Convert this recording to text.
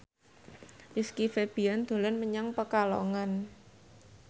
Rizky Febian dolan menyang Pekalongan